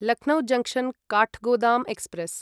Lucknow junction Kathgodam express